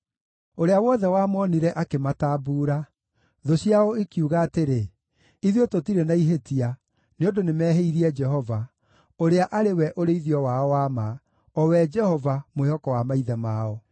Ũrĩa wothe wamoonire akĩmatambuura; thũ ciao ikiuga atĩrĩ, ‘Ithuĩ tũtirĩ na ihĩtia, nĩ ũndũ nĩmehĩirie Jehova, ũrĩa arĩ we ũrĩithio wao wa ma, o we Jehova, mwĩhoko wa maithe mao.’